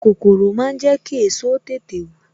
Kòkòrò máa ń jẹ ki èso tètè wù